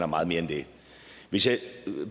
meget mere end det hvis jeg